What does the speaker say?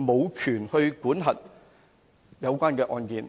無權管核有關的案件。